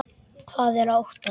Hvað er að óttast?